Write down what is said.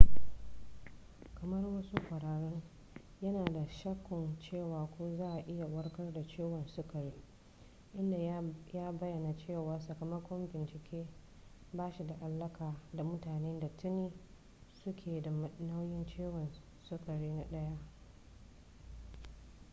kamar wasu ƙwararrun yana da shakkun cewa ko za a iya warkar da ciwon sukari inda ya bayyana cewa sakamakon bincike ba shi da alaƙa da mutanen da tuni su ke da nau'in ciwon sukari na 1